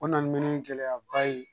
O nana mɛnni gɛlɛyaba ye